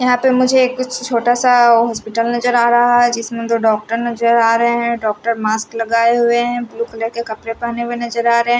यहां पे मुझे कुछ छोटा सा हॉस्पिटल नजर आ रहा है जिसमें दो डॉक्टर नजर आ रहे हैं डॉक्टर मास्क लगाए हुए हैं ब्लू कलर कपड़े पहने हुए नजर आ रहे--